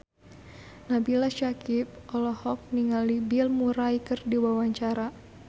Nabila Syakieb olohok ningali Bill Murray keur diwawancara